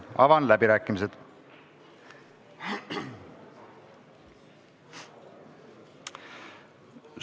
Avan läbirääkimised.